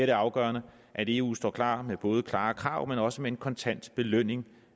det afgørende at eu står klar med både klare krav men også med en kontant belønning